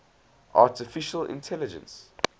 artificial intelligence